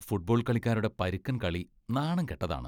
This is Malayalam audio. ഫുട്ബോൾ കളിക്കാരുടെ പരുക്കൻ കളി നാണം കെട്ടതാണ്.